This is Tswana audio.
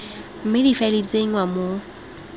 mme difaele di tsenngwa mo